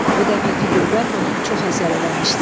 Bu dəfəki qürbət ona çox əsər eləmişdi.